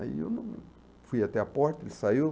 Aí eu fui até a porta, ele saiu.